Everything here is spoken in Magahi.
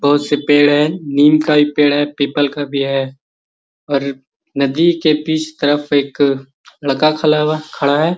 बहुत से पेड़ हैं नीम का एक पेड़ है पीपल का भी है और नदी के बीच तरफ एक लड़का खला हुआ खड़ा है |